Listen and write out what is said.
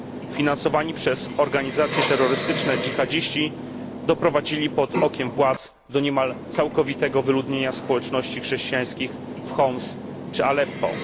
Finansowani przez organizacje terrorystyczne dżihadziści doprowadzili pod okiem władz do niemal całkowitego wyludnienia społeczności chrześcijańskich w Homs czy Aleppo.